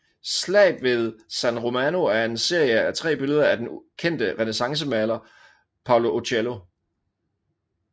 Slaget ved San Romano er en serie af tre billeder af den kendte renæssancemaler Paolo Uccello